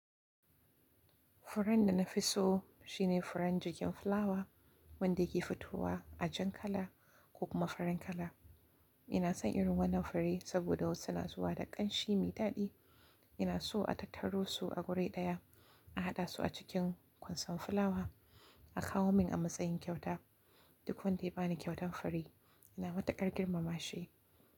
Furen da na fi so shine furen jirgin fulawa wanda yake fitowa a jan kala ko kuma farin kala. Ina son irin wannan fure saboda wasu na zuwa da ƙanshi mai daɗi. Ina so a tattaro su a guri ɗaya, a haɗa su a cikin kwanson fulawa, a kawo min a matsayin kyauta. Duk wanda ya ba ni kyautar fure, ina matuƙar girmama shi.